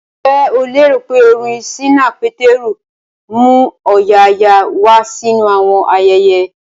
Ǹjẹ́ o lérò pé orin ṣínà Pétérù ń mú ọ̀yààyà wá sínú àwọn ayẹyẹ?